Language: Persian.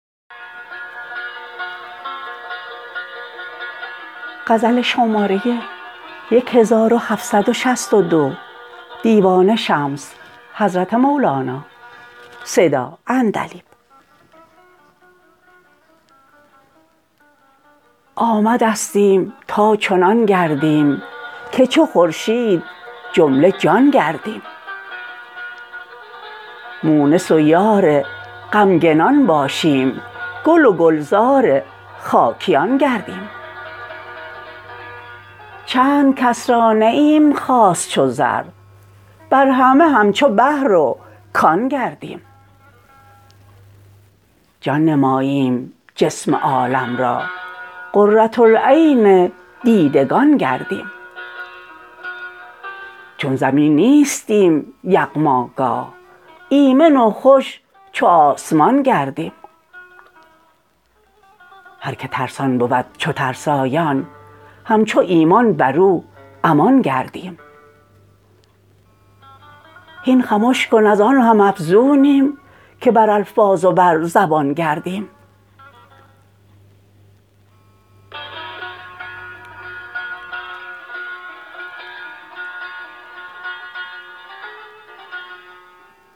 آمدستیم تا چنان گردیم که چو خورشید جمله جان گردیم مونس و یار غمگنان باشیم گل و گلزار خاکیان گردیم چند کس را نییم خاص چو زر بر همه همچو بحر و کان گردیم جان نماییم جسم عالم را قره العین دیدگان گردیم چون زمین نیستیم یغماگاه ایمن و خوش چو آسمان گردیم هر کی ترسان بود چو ترسایان همچو ایمان بر او امان گردیم هین خمش کن از آن هم افزونیم که بر الفاظ و بر زبان گردیم